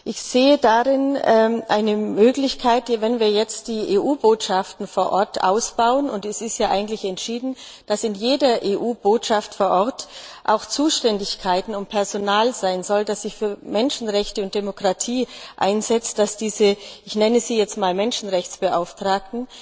Ich sehe eine Möglichkeit darin, dass wir jetzt die EU Botschaften vor Ort ausbauen und es ist ja eigentlich entschieden, dass in jeder EU Botschaft vor Ort auch Zuständigkeiten, Personal sein soll, das sich für Menschenrechte und Demokratie einsetzt dass sich diese Bediensteten, ich nenne sie jetzt einmal Menschenrechtsbeauftragte,